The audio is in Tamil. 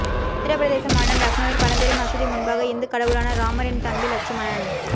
உத்தரப்பிரதேச மாநிலம் லக்னோவில் பழம் பெரும் மசூதி முன்பாக இந்து கடவுளான ராமரின் தம்பி லட்சுமணன்